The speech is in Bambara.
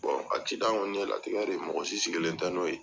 kɔni ye latigɛ ye mɔgɔ si sigilen tɛ n'o ye.